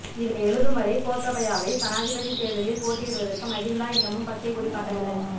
இதனை எழுதும்வரை கோத்தபாயாவை சனாதிபதி தேர்தலில் போட்டியிடுவதற்கு மகிந்தா இன்னமும் பச்சைக் கொடி காட்டவில்லை